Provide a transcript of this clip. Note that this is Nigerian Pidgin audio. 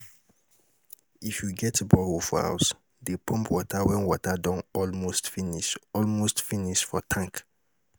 if yu get borehole for house, dey pump water wen water don almost finish almost finish for tank